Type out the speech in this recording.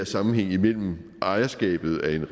sammenhæng mellem ejerskabet af en